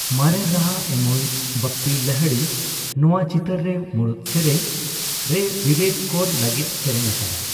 ᱢᱟᱨᱮᱱ ᱨᱟᱦᱟ ᱮᱢᱚᱜ ᱤᱪ ᱵᱟᱯᱯᱤ ᱞᱟᱦᱤᱲᱤ ᱱᱚᱣᱟ ᱪᱤᱛᱟᱹᱨ ᱨᱮ ᱢᱩᱲᱩᱛ ᱥᱮᱨᱮᱧ ᱨᱮ ᱵᱤᱵᱮᱠ ᱠᱚᱨ ᱞᱟᱹᱜᱤᱫ ᱥᱮᱨᱮᱧ ᱟᱠᱟᱫᱟᱭ ᱾